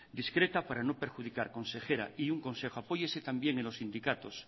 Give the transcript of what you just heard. discreta para no perjudicar consejera y un consejo apóyese también en los sindicatos